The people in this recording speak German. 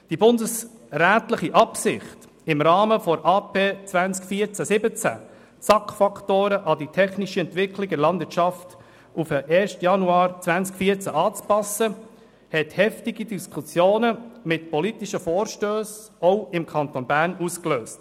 Die bundesrätliche Absicht, im Rahmen der AP 14–17 SAK-Faktoren an die technische Entwicklung in der Landwirtschaft auf den 1. Januar 2014 anzupassen, hatte auch im Kanton Bern heftige Diskussionen mit politischen Vorstössen ausgelöst.